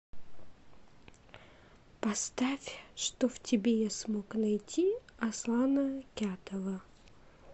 поставь что в тебе я смог найти аслана кятова